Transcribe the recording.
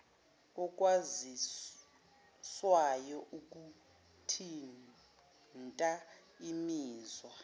okwaziswayo okuthinta imizwa